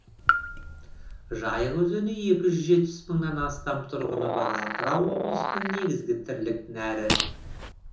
жайық өзені екі жүз жетпіс мыңнан астам тұрғыны бар атырау облысының негізгі тірлік нәрі